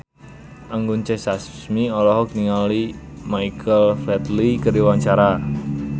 Anggun C. Sasmi olohok ningali Michael Flatley keur diwawancara